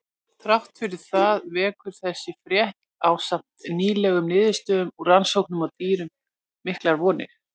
Þrátt fyrir það vekur þessi frétt, ásamt nýlegum niðurstöðum úr rannsóknum á dýrum, miklar vonir.